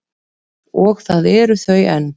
Og það eru þau enn.